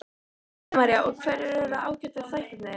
Helga María: Og hverjir eru áhættuþættirnir?